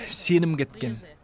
сенім кеткен